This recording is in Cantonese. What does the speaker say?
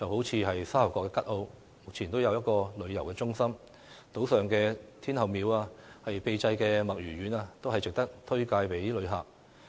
以沙頭角吉澳為例，目前已有一個遊客中心，島上的天后廟、秘製墨魚丸均值得向旅客推介。